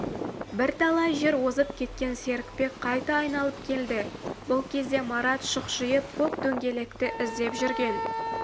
бірталай жер озып кеткен серікбек қайта айналып келді бұл кезде марат шұқшиып көк дөңгелекті іздеп жүрген